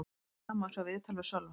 Hér að neðan má sjá viðtal við Sölva.